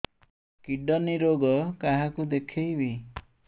kidney ରୋଗ କାହାକୁ ଦେଖେଇବି